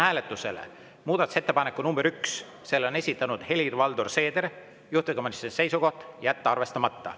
Panen hääletusele muudatusettepaneku nr 1: selle on esitanud Helir-Valdor Seeder ja juhtivkomisjoni seisukoht on jätta see arvestamata.